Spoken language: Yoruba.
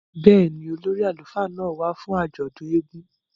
Bẹ́ẹ̀ni, ólori àlufa náa wa fun àjọdun èègún